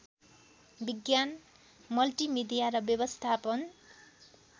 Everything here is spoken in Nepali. विज्ञान मल्टिमिडिया र व्यवस्थापन